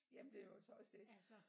Jamen det er jo så også det